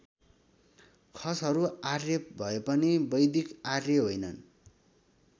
खसहरू आर्य भए पनि वैदिक आर्य होइनन्।